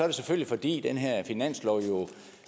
det selvfølgelig fordi den her finanslov jo